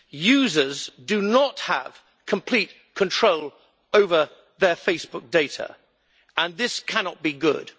Users do not have complete control over their Facebook data, and this cannot be good.